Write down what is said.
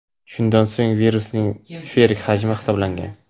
Shundan so‘ng virusning sferik hajmi hisoblangan.